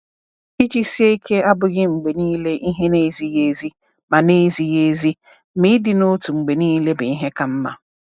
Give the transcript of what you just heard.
Iji sie ike abụghị mgbe niile ihe na-ezighi ezi. Ma na-ezighi ezi. Ma ịdị n’otu mgbe niile bụ ihe ka mma.